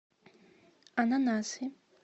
ананасы